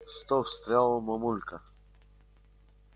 стоп встряла мамулька